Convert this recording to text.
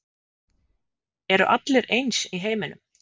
Eru allir eins í heiminum?